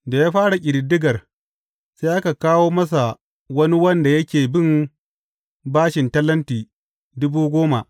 Da ya fara ƙididdigar, sai aka kawo masa wani wanda yake bin bashin talenti dubu goma.